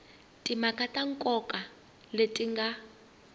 timhaka ta nkoka leti nga